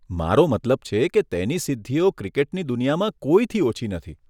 મારો મતલબ છે કે, તેની સિદ્ધિઓ ક્રિકેટની દુનિયામાં કંઈથી ઓછી નથી.